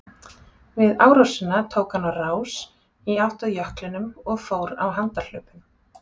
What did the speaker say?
Við árásina tók hann á rás í átt að jöklinum og fór á handahlaupum.